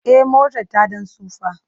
E, motar ta ɗan tsufa.